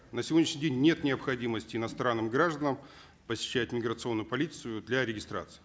на сегодняшний день нет необходимости иностранным гражданам посещать миграционную полицию для регистрации